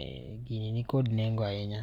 Eeh, gini ni kod nengo ahinya.